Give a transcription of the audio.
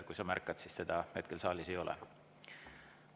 Kui sa märkad, siis teda hetkel saalis ei ole.